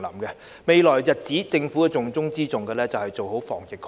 在未來的日子裏，政府重中之重的工作是防疫抗疫。